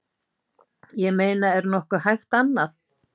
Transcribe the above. Ég meina er nokkuð hægt annað?